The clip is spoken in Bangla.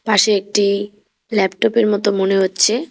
পাশে একটি ল্যাপটপ -এর মতো মনে হচ্ছে।